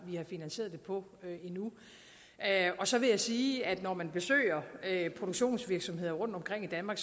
finansieret det på og så vil jeg sige at når man besøger produktionsvirksomheder rundtomkring i danmark